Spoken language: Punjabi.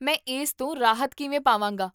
ਮੈਂ ਇਸ ਤੋਂ ਰਾਹਤ ਕਿਵੇਂ ਪਾਵਾਂਗਾ?